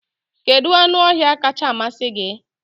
Kedu anụ ọhịa kacha amasị gị?